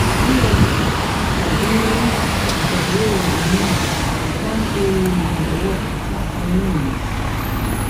USG tàbí ìdánwò hormone máa ń ṣe ìrànlọ́wọ́ láti ní òye